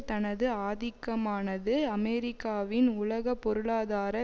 தனது ஆதிக்கமானது அமெரிக்காவின் உலக பொருளாதார